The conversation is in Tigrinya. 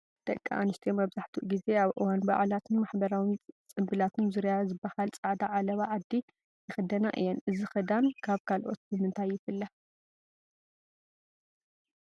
ደቂ ኣንስትዮ መብዛሕትኡ ጊዜ ኣብ እዋን በዓላትን ማሕበራዊ ፅንብላትን ዙርያ ዝበሃል ፃዕዳ ዓለባ ዓዲ ይኽደና እየን፡፡ እዚ ክዳን ካብ ካልኦት ብምንታይ ይፍለ?